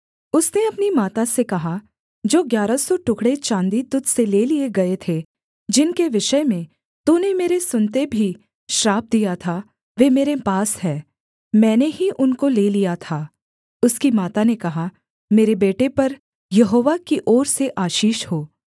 उसने अपनी माता से कहा जो ग्यारह सौ टुकड़े चाँदी तुझ से ले लिए गए थे जिनके विषय में तूने मेरे सुनते भी श्राप दिया था वे मेरे पास हैं मैंने ही उनको ले लिया था उसकी माता ने कहा मेरे बेटे पर यहोवा की ओर से आशीष हो